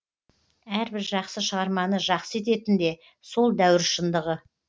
әрбір жақсы шығарманы жақсы ететін де сол дәуір шындығы